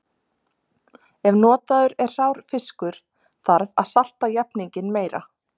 Ef notaður er hrár fiskur þarf að salta jafninginn meira.